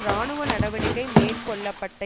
இராணுவ நடவடிக்கை மேற்கொள்ள பட்ட